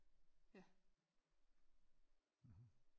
Ja